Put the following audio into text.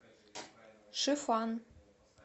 шифан